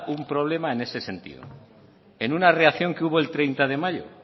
un problema en ese sentido en una reacción que hubo el treinta de mayo